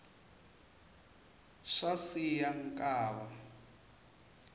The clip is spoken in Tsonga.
swa siya nkava